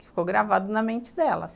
Ficou gravado na mente dela.